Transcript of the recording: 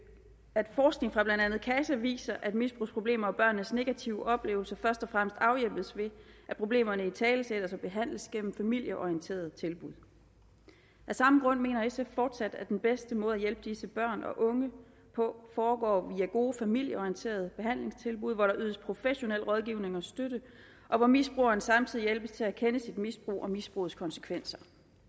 at forskning fra blandt andet casa viser at misbrugsproblemer og børnenes negative oplevelser først og fremmest afhjælpes ved at problemerne italesættes og behandles gennem familieorienterede tilbud af samme grund mener sf fortsat at den bedste måde at hjælpe disse børn og unge på foregår via gode familieorienterede behandlingstilbud hvor der ydes professionel rådgivning og støtte og hvor misbrugeren samtidig hjælpes til at erkende sit misbrug og misbrugets konsekvenser